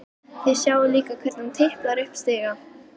Þið sjáið líka hvernig hún tiplar upp stiga.